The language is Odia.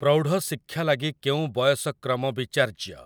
ପ୍ରୌଢ଼ଶିକ୍ଷା ଲାଗି କେଉଁ ବୟସକ୍ରମ ବିଚାର୍ଯ୍ୟ?